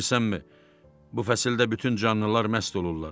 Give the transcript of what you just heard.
Bilirsənmi, bu fəsildə bütün canlılar məst olurlar.